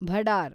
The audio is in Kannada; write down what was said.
ಭಡಾರ್